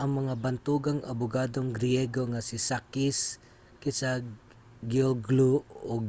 ang mga bantugang abugadong griyego nga si sakis kechagiolglou ug